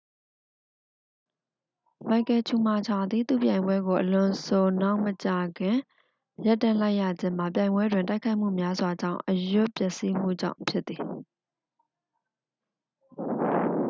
မိုက်ကယ်ချူမာချာသည် သူ့ပြိုင်ပွဲကို အလွန်ဆိုနောက်မကြာခင် ရပ်တန့်လိုက်ရခြင်းမှာ ပြိုင်ပွဲတွင် တိုက်ခိုက်မှုများစွာကြောင့် အရွတ်ပျက်စီးမှုကြောင့်ဖြစ်သည်